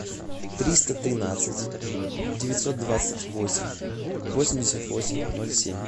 триста тринадцать девятьсот двадцать восемь восемьдесят восемь ноль семь